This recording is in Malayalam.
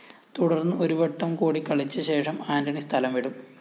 തുടര്‍ന്ന് ഒരുവട്ടം കൂടി കളിച്ചശേഷം ആന്റണി സ്ഥലം വിടും